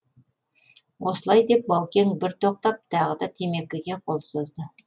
осылай деп баукең бір тоқтап тағы да темекіге қол созды